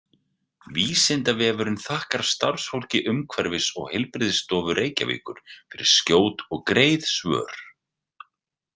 Vísindavefurinn þakkar starfsfólki Umhverfis- og heilbrigðisstofu Reykjavíkur fyrir skjót og greið svör.